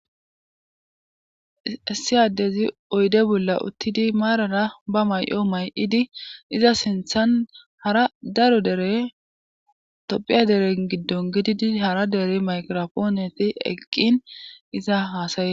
Issi adezi oyde bolla uttidi maarara ba may7o may7idi iza sinthan hara daro dere tophiya dere giddon gididi hara dere mayirofooneti eqqin iza haasaye.